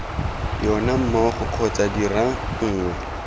yona mmogo kgotsa dira nngwe